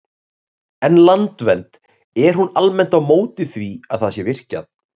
En Landvernd, er hún almennt á móti því að það sé virkjað?